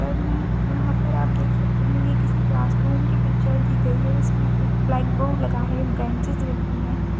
पर मैं यहाँ पर आप देख सकते हैं ये किसी क्लास रूम का पिक्चर दी गई है इसमें एक ब्लैक बोर्ड लगा है बैनचेस रखी हुई हैं ।